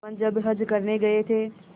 जुम्मन जब हज करने गये थे